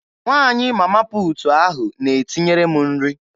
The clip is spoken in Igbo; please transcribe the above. Nwaanyị Mama puutu ahụ na-etinyere m nri.